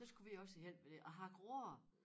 Der skulle vi også hen med det og hakke roer